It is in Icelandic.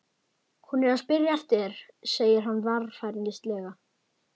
Hún er að spyrja eftir þér, segir hann varfærnislega.